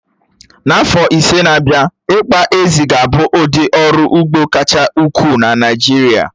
N'afọ ise n'abia, ị́kpà ézí ga-abụ ụdị ọrụ ugbo kacha ukwuu na Naịjirịa.